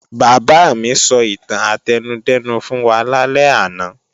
Bàbá mi sọ ìtàn átẹnudẹ́nu fún wa lálẹ́ àná